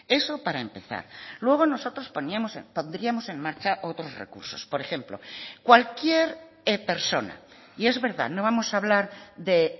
eso para empezar luego nosotros pondríamos en marcha otros recursos por ejemplo cualquier persona y es verdad no vamos a hablar de